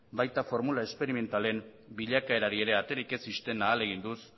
baita formula esperimentalen bilakaerari ere aterik ez ixten ahaleginduz